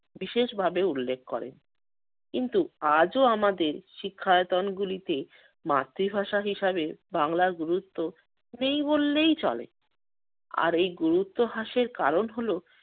বিশেষভাবে উল্লেখ করেন। কিন্তু আজও আমাদের শিক্ষায়তনগুলিতে মাতৃভাষা হিসাবে বাংলার গুরুত্ব নেই বললেই চলে। আর এই গুরুত্ব হ্রাসের কারণ হলো